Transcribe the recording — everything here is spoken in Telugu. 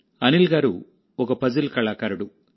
అనిల్ గారు ఒక పజిల్ కళాకారుడు